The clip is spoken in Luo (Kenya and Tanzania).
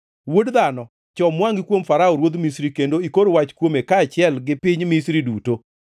“Wuod dhano, chom wangʼi kuom Farao ruodh Misri kendo ikor wach kuome kaachiel gi piny Misri duto.